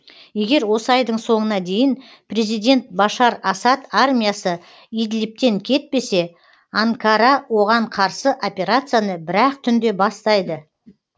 егер осы айдың соңына дейін президент башар асад армиясы идлибтен кетпесе анкара оған қарсы операцияны бір ақ түнде бастайды